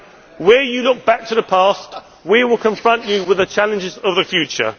and where you look back to the past, we will confront you with the challenges of the future.